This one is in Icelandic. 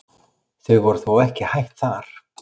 Þau voru þó ekki hætt þar.